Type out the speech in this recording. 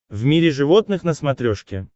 в мире животных на смотрешке